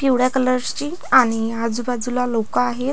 पिवळ्या कलर्सची आणि आजूबाजूला लोक आहेत.